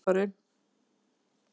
Einhver gæti spilað á þetta hljóðfæri.